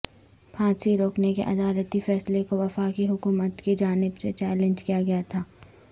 پھانسی روکنے کے عدالتی فیصلے کو وفاقی حکومت کی جانب سے چیلنج کیا گیا تھا